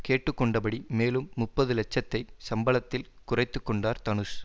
கேட்டு கொண்டபடி மேலும் முப்பது லட்சத்தை சம்பளத்தில் குறைத்து கொண்டார் தனுஷ்